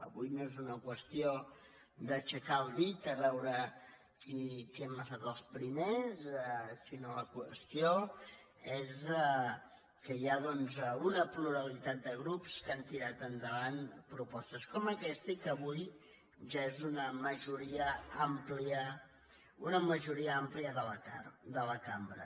avui no és una qüestió d’aixecar el dit a veure qui hem es·tat els primers sinó que la qüestió és que hi ha una pluralitat de grups que han tirat endavant propostes com aquesta i que avui ja és una majoria àmplia de la cambra